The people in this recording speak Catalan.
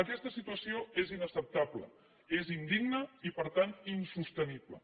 aquesta situació és inacceptable és indigna i per tant insostenible